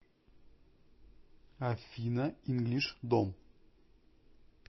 афина инглиш дом